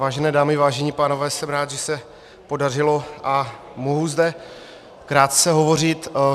Vážené dámy, vážení pánové, jsem rád, že se podařilo a mohu zde krátce hovořit.